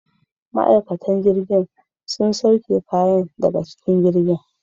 Ma'aikatan jirgin sun sauke kayan daga cikin jirgin.